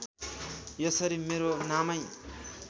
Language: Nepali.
यसरी मेरो नामै